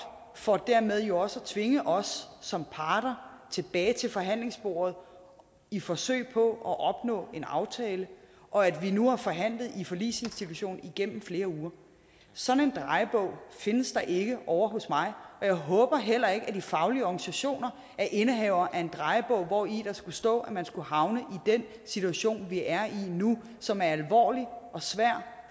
for dermed jo også at tvinge os som parter tilbage til forhandlingsbordet i forsøg på at opnå en aftale og at vi nu har forhandlet i forligsinstitutionen igennem flere uger sådan en drejebog findes der ikke ovre hos mig og jeg håber heller ikke at de faglige organisationer er indehavere af en drejebog hvori der skulle stå at man skulle havne i den situation vi er i nu som er alvorlig og svær